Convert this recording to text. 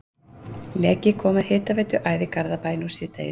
Leki kom að hitaveituæð í Garðabæ nú síðdegis.